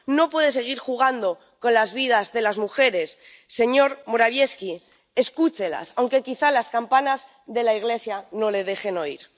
No puede seguir jugando con las vidas de las mujeres, señor Morawiecki escúchelas, aunque quizá las campanas de la iglesia no le dejen oír.